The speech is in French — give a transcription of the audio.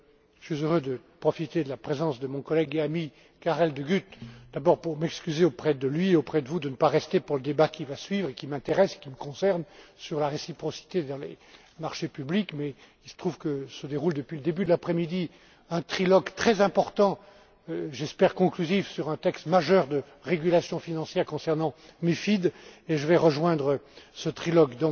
Je suis heureux de profiter de la présence de mon collègue et ami, Karel De Gucht, d'abord pour m'excuser auprès de lui et auprès de vous de ne pas rester pour le débat qui va suivre et qui m'intéresse et me concerne sur la réciprocité dans les marchés publics, mais il se trouve que se déroule depuis le début de l'après midi un trilogue très important j'espère conclusif sur un texte majeur de régulation financière concernant la MiFID et je vais rejoindre ce trilogue.